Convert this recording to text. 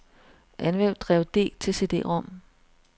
Anvend drev D til cd-rom.